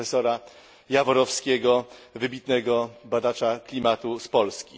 profesora Jaworowskiego, wybitnego badacza klimatu z Polski.